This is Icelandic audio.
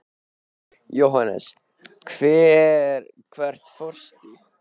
Jóhannes: Hvert fórstu?